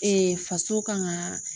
faso kan ka